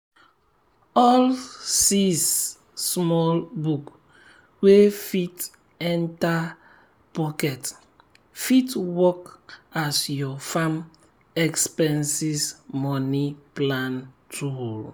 all sis small book wey fit enter pocket fit work as your farm expenses money plan tool.